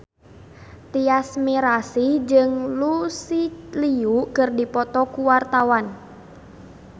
Tyas Mirasih jeung Lucy Liu keur dipoto ku wartawan